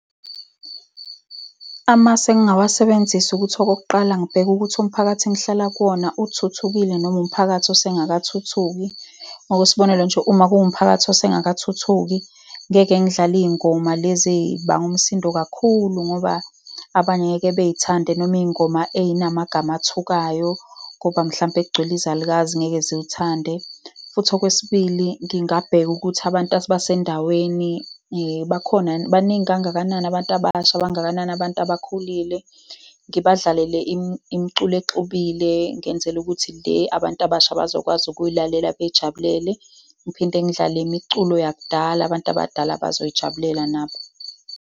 Amasu engawasebenzisa ukuthi okokuqala ngibheke ukuthi umphakathi engihlala kuwona uthuthukile, noma umphakathi osengakathuthuki. Ngokwesibonelo nje, uma kuwumphakathi osengakathuthuki, ngeke ngidlale iy'ngoma lezi ey'banga umsindo kakhulu, ngoba abanye ngeke bey'thande, noma iy'ngoma ey'namagama athukayo, ngoba mhlampe kugcwele izalukazi, ngeke ziwuthande. Futhi okwesibili, ngingabheka ukuthi abantu abasendaweni bakhona yini, baningi kangakanani abantu abasha, bangakanani abantu abakhulile. Ngibadlalele imiculo ezixubile, ngenzela ukuthi le abantu abasha bazokwazi ukuyilalela beyijabulele. Ngiphinde ngidlale imiculo yakudala, abantu abadala abazoyijabulela nabo.